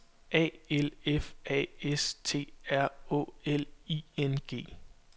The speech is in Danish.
A L F A S T R Å L I N G